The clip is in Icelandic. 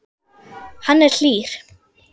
Hann er hlýr.